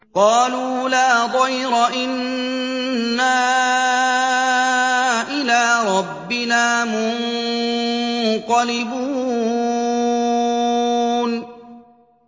قَالُوا لَا ضَيْرَ ۖ إِنَّا إِلَىٰ رَبِّنَا مُنقَلِبُونَ